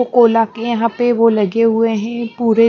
को कोला के यहाँ पे वो लगे हुए हैं पूरे --